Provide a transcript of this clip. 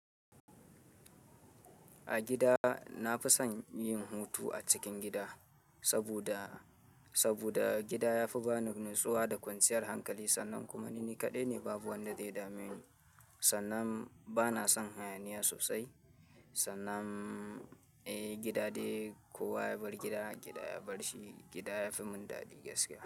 A gida na fi son yin hutu a cikin gida saboda, saboda gida ya fi bani natsuwa da kwanciyar hankali sannan kuma ni ni kaɗai ne babu wanda zai dame ni. Sannan bana son hayaniya sosai sannan eh gida dai kowa ya bar gida, gida ya bar shi, gida yafi mun dadi gaskiya.